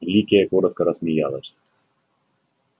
ликия коротко рассмеялась